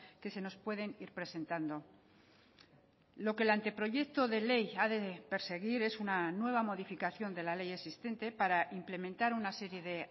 que se nos pueden ir presentando lo que el anteproyecto de ley ha de perseguir es una nueva modificación de la ley existente para implementar una serie de